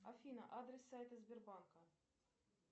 афина адрес сайта сбербанка